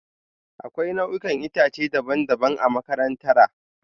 Akwai nau'ikan itace daban-daban a makarantara